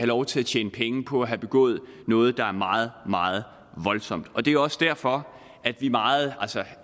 lov til at tjene penge på at have begået noget der er meget meget voldsomt og det er også derfor at vi meget